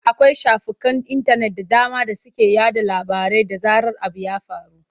Akwai shafukan intanet da dama da suke yaɗa labarai da zarar abu ya faru.